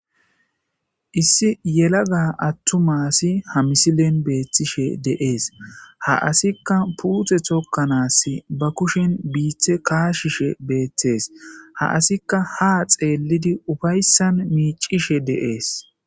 Issi yelaga attumasi ha misilen beethtishe deees ha asikka puute tokkanaass ba kushen biithe kaashishe beeththees ha asikka ha xeellidi ufayssan miicishe deees.